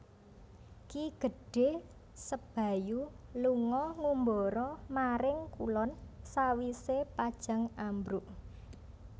Ki Gedhé Sebayu lunga ngumbara maring kulon sawisé Pajang ambruk